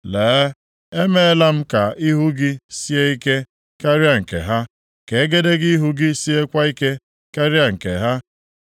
Lee, emeela m ka ihu gị sie ike karịa nke ha, ka egedege ihu gị siekwa ike karịa nke ha.